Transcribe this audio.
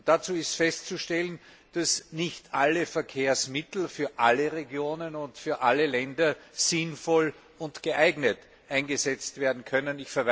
Dazu ist festzustellen, dass nicht alle Verkehrsmittel für alle Regionen und für alle Länder sinnvoll und geeignet eingesetzt werden können.